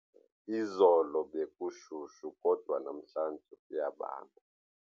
Izolo bekushushu kodwa namhlanje kuyabanda.